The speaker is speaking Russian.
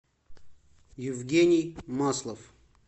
евгений маслов